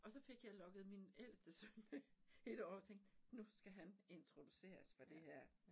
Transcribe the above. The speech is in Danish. Og så fik jeg lokket min ældste søn med et år og tænkte nu skal han introduceres for det her